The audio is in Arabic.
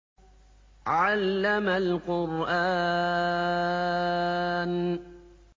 عَلَّمَ الْقُرْآنَ